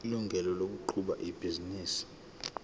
ilungelo lokuqhuba ibhizinisi